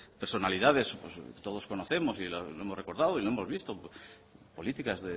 personalidades todos conocemos y lo hemos recordado y lo hemos visto políticas